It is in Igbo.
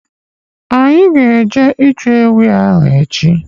Anyị ga- eje ịchụ ewii ahụ echi.